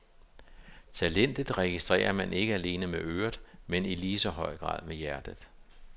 Talentet registrerer man ikke alene med øret, men i lige så høj grad med hjertet.